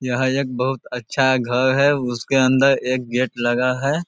यहाँ एक बोहोत अच्छा घर है उसके अंदर एक गेट लगा है।